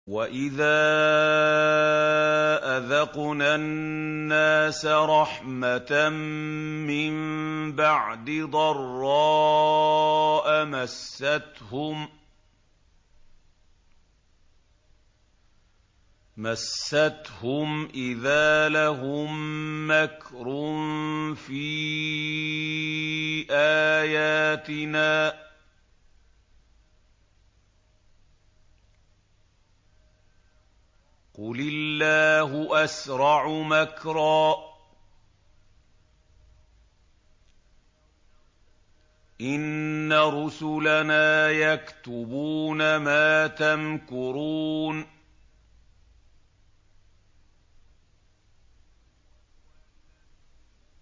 وَإِذَا أَذَقْنَا النَّاسَ رَحْمَةً مِّن بَعْدِ ضَرَّاءَ مَسَّتْهُمْ إِذَا لَهُم مَّكْرٌ فِي آيَاتِنَا ۚ قُلِ اللَّهُ أَسْرَعُ مَكْرًا ۚ إِنَّ رُسُلَنَا يَكْتُبُونَ مَا تَمْكُرُونَ